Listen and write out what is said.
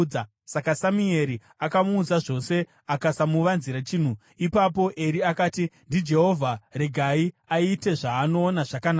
Saka Samueri akamuudza zvose, akasamuvanzira chinhu. Ipapo Eri akati, “NdiJehovha, regai aite zvaanoona zvakanaka.”